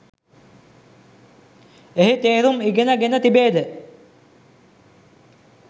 එහි තේරුම් ඉගෙන ගෙන තිබේද?